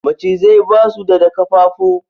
Macizai ba su da da ƙafafu